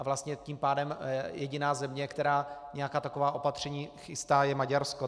A vlastně tím pádem jediná země, která nějaká taková opatření chystá, je Maďarsko.